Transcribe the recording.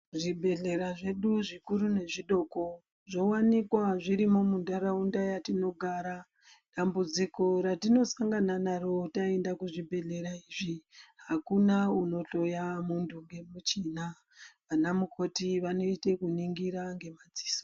Zvibhedhlera zvedu zvikuru nezvidoko zvowanikwa zvirimo mundaraunda yatinogara, dambudziko ratinosangana naro taenda kuzvibhedhlera izvi hakuna unotoya mundu ngemuchina wanamukoti wanoite kuningira ngemadziso.